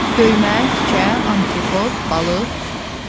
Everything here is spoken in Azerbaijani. Döymə, tikə, antrekot, balıq.